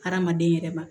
Hadamaden yɛrɛ ma